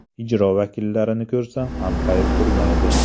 Ijro vakillarini ko‘rsa, anqayib turmaydi.